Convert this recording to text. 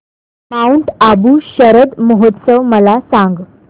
Mount Abu शरद महोत्सव मला सांग